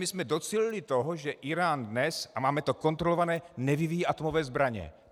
My jsme docílili toho, že Írán dnes - a máme to kontrolované - nevyvíjí atomové zbraně.